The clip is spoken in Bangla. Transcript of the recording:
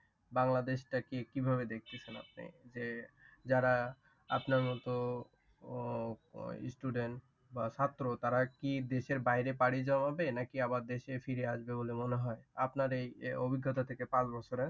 যারা আপনার মতো ওই student বা ছাত্র তারা কি দেশের বাইরে পাড়ি জমাবে নাকি আবার দেশে ফিরে আসবে বলে মনে হয়? আপনার এই অভিজ্ঞতা থেকে পাঁচ বছরে